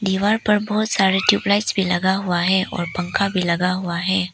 दीवार पर बहोत सारे ट्यूबलाइट भी लगा हुआ है और पंखा भी लगा हुआ है।